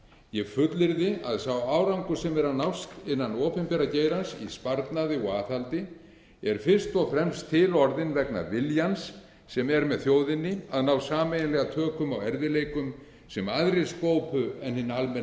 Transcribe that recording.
ég fullyrði að sá árangur sem er að nást innan opinbera geirans í sparnaði og aðhaldi er fyrst og fremst til orðinn vegna viljans sem er með þjóðinni að ná sameiginlega tökum á erfiðleikum sem aðrir skópu en hinn